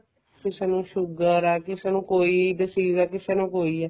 ਕਿਸੇ ਨੂੰ sugar ਹੈ ਕਿਸੇ ਨੂੰ ਕੋਈ disease ਹੈ ਕਿਸੇ ਨੂੰ ਕੋਈ ਹੈ